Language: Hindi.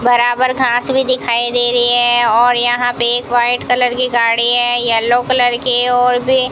बराबर घास भी दिखाई दे रही है और यहां पे एक व्हाइट कलर की गाड़ी है येलो कलर की और भी --